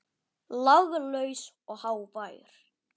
Laglaus og hávær.